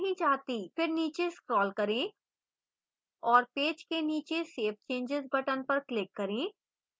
फिर नीचे scroll करें और पेज के नीचे save changes button पर click करें